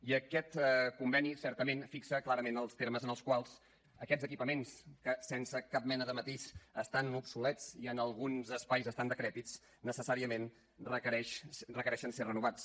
i aquest conveni certament fixa clarament els termes en els quals aquests equipaments que sense cap mena de matís estan obsolets i en alguns espais estan decrèpits necessàriament requereixen ser renovats